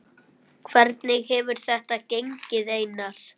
Hvernig hefur þetta gengið Einar?